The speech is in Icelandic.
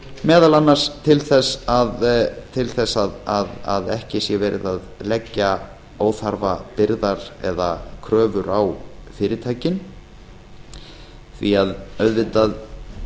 meðal annars til þess að ekki sé verið að leggja óþarfa byrðar eða kröfur á fyrirtækin því að auðvitað